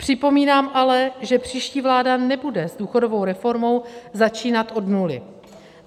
Připomínám ale, že příští vláda nebude s důchodovou reformou začínat od nuly.